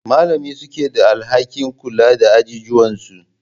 Malamin suke da alhakin kula da ajijuwan su.